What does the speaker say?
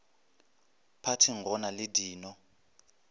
phathing go na le dino